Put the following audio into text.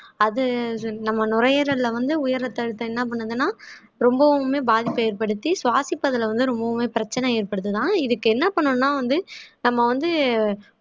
அது அது நம்ம நுரையீரல்ல வந்து உயர் ரத்த அழுத்தம் என்ன பண்ணுதுன்னா ரொம்பவுமே பாதிப்பை ஏற்படுத்தி சுவாசிப்பதிலே வந்து ரொம்பவுமே பிரச்சனை ஏற்படுத்துதாம் இதுக்கு என்ன பண்ணணும்ன்னா வந்து நம்ம வந்து